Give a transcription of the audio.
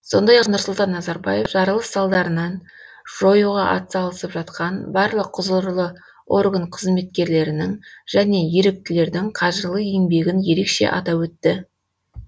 сондай ақ нұрсұлтан назарбаев жарылыс салдарын жоюға атсалысып жатқан барлық құзырлы орган қызметкерлерінің және еріктілердің қажырлы еңбегін ерекше атап өтті